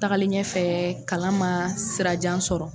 Tagalen ɲɛfɛ kalan man sirajan sɔrɔ.